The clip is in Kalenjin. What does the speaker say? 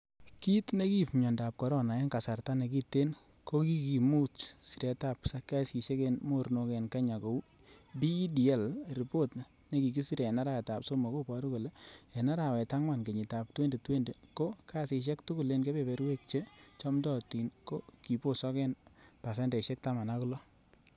Kit nekiib miondo corona en kasarta nekiten kokimu siretab kasisiek en mornok en kenya kou PEDL, ripot nekikisire en arawetab somok, koboru kole en arawetab angwan kenyitab 2020,ko kasisiek tugul en kebeberwek che chomdootin ko kibosok en pasendeisiek taman ak loo.